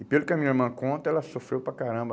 E pelo que a minha irmã conta, ela sofreu para caramba.